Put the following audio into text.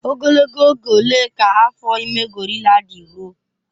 Ogologo oge ole ka afọ ime gorila dị ruo?